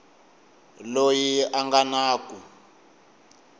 loyi a nga na ku